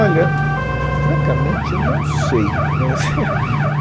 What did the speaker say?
Olha, francamente, eu não sei né.